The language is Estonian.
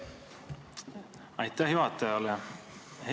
Aitäh juhatajale!